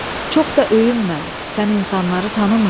Çox da öyünmə, sən insanları tanımırsan.